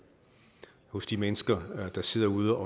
hos de mennesker der sidder ude